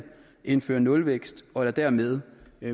indfører nulvækst og der dermed